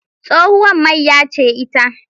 Tsohuwar mayya ce ita.